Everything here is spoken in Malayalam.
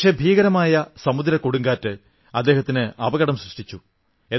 പക്ഷേ ഭീകരമായ സമുദ്രക്കൊടുങ്കാറ്റ് അദ്ദേഹത്തിന് അപകടം സൃഷ്ടിച്ചു